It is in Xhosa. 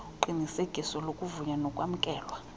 uqinisekiso lokuvunywa nokwamkelwa